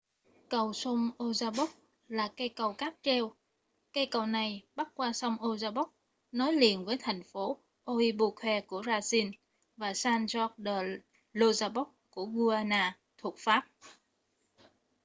cầu sông oyapock là cây cầu cáp treo cây cầu này bắc qua sông oyapock nối liền với thành phố oiapoque ở brazil và saint-georges de l'oyapock ở guiana thuộc pháp